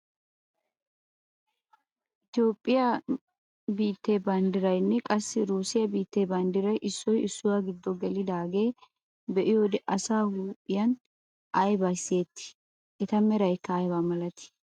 Itoophphiyaa biittee banddiraaranne qassi russiyaa biittee baddiray issoy issuwaa giddo gelidaagaa be'iyoode asaa huuphphiyaan aybi siyettii? eta meraykka aybaa milatii?